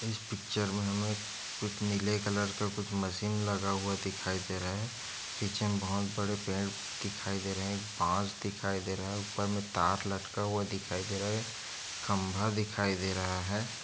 इस पिक्चर मे हमे कुछ नीले कलर के मशीन लगा हुआ है दिखाई दे रहे है पीछे मे बहोत बड़े पेड़ दिखाई दे रहे है एक बांस दिखाई दे रहा है ऊपर तार लटका हुआ है खंभा दिखाई दे रहा है।